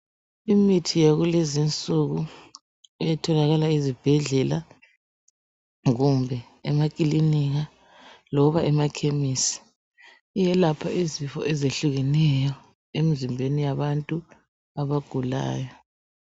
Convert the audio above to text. Imithi yakulezinsuku etholakala ezibhedlela kumbe emakalinika loba emakhemesi iyelapha izifo ezehlukeneyo emzimbeni yabantu abagulayo.